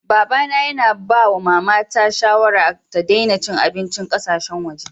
Baba na yana yawan ba wa mama na shawarar, ta Dana cin abincin kasasheyn waje.